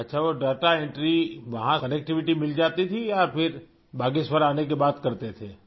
اچھا وہ data entry, وہاں کنیکٹویٹی مل جاتی تھی یا پھر باگیشور آنے کے بعد کرتے تھے؟